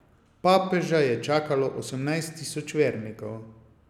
Papeža je čakalo osemnajst tisoč vernikov.